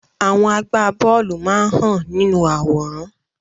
Àwọn agbá bóòlù máa hàn nínú àwòrán.